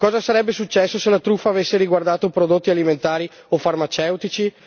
Cosa sarebbe successo se la truffa avesse riguardato prodotti alimentari o farmaceutici?